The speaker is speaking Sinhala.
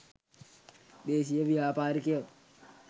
දේශීය ව්‍යාපාරිකයොත්